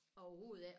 Overhoved ikke